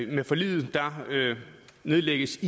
med forliget nedlægges